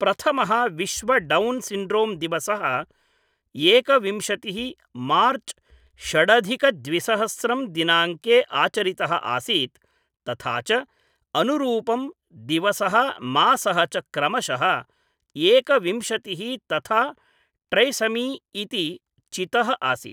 प्रथमः विश्व Down syndrome दिवसः एकविंशतिः मार्च षडधिक द्विसहस्रं दिनाङ्के आचरितः आसीत् तथा च अनुरूपं दिवसः मासः च क्रमशः एकविंशतिः तथा ट्रैसमी इति चितः आसीत्।